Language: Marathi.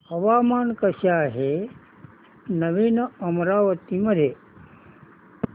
हवामान कसे आहे नवीन अमरावती मध्ये